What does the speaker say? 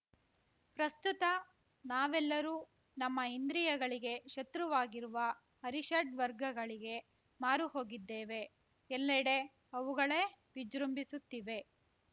ಪ್ರಸ್ತುತ ನಾವೆಲ್ಲರೂ ನಮ್ಮ ಇಂದ್ರಿಯಗಳಿಗೆ ಶತೃವಾಗಿರುವ ಅರಿಷಡ್ವರ್ಗಗಳಿಗೆ ಮಾರು ಹೋಗಿದ್ದೇವೆ ಎಲ್ಲಡೆ ಅವುಗಳೇ ವಿಜೃಂಭಿಸುತ್ತಿವೆ